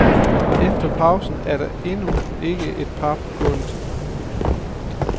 Efter pausen er der endnu ikke et par på gulvet.